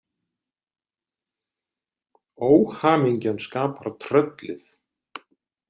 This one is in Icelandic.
Óhamingjan skapar tröllið.